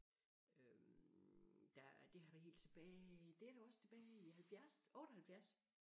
Øh da det har været helt tilbage det er da også tilbage i 70 78